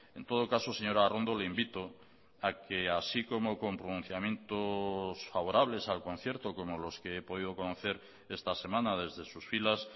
en todo caso señora arrondo le invito a que así como con pronunciamientos favorables al concierto como los que he podido conocer esta semana desde sus filas